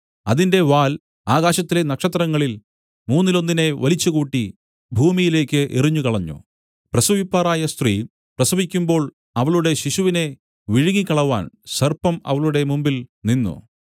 അതിന്റെ വാൽ ആകാശത്തിലെ നക്ഷത്രങ്ങളിൽ മൂന്നിലൊന്നിനെ വലിച്ചുകൂട്ടി ഭൂമിയിലേക്കു എറിഞ്ഞുകളഞ്ഞു പ്രസവിപ്പാറായ സ്ത്രീ പ്രസവിക്കുമ്പോൾ അവളുടെ ശിശുവിനെ വിഴുങ്ങിക്കളവാൻ സർപ്പം അവളുടെ മുമ്പിൽനിന്നു